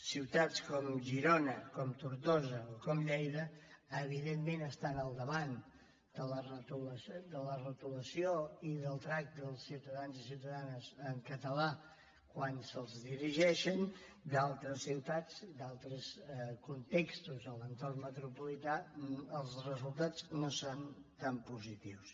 ciutats com girona com tortosa o com lleida evidentment estan al davant de la retolació i del tracte dels ciutadans i ciutadanes en català quan se’ls dirigeixen en d’altres ciutats d’altres contextos a l’entorn metropolità els resultats no són tan positius